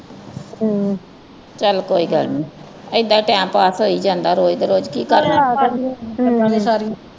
ਚਲ ਕੋਈ ਗੱਲ ਨਹੀਂ ਏਦਾਂ ਈ ਟਾਇਮ ਪਾਸ ਹੋਈ ਜਾਂਦਾ ਰੋਜ਼ ਦੇ ਰੋਜ਼ ਕੀ ਕਰਨਾ